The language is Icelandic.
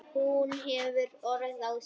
Hún hefur orð á því.